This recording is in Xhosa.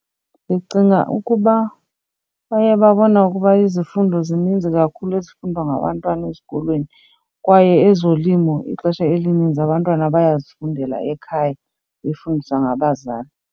Ndicinga ukuba baye babone ukuba izifundo zininzi kakhulu ezifundwa ngabantwana ezikolweni kwaye ezolimo ixesha elininzi abantwana bayazifundela ekhaya befundiswa ngabazali.